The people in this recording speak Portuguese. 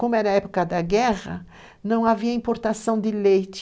Como era a época da guerra, não havia importação de leite.